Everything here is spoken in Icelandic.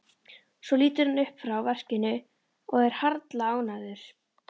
Svo lítur hann upp frá verkinu og er harla ánægður.